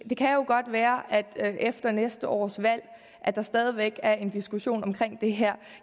det kan jo godt være at der efter næste års valg stadig væk er en diskussion om det her